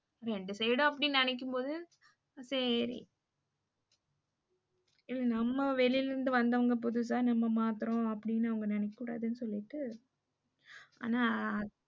ரெண்டு side உம் அப்படி நினைக்கும் போது சேரி நம்ம வெளில இருந்து வந்தவங்க புதுசா நம்ம மாத்துறோம் அப்படின்னு அவங்க நினைக்க கூடாதுன்னு சொல்லிட்டு ஆனா